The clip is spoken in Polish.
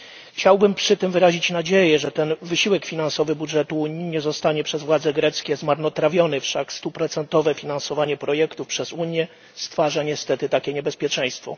Chciałbym przy tym wyrazić nadzieję, że ten wysiłek finansowy budżetu Unii nie zostanie przez władze greckie zmarnotrawiony, wszak stuprocentowe finansowanie projektów przez Unię stwarza niestety takie niebezpieczeństwo.